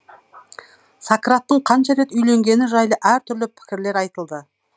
сократтың қанша рет үйленгені жайлы әртүрлі пікірлер айтылды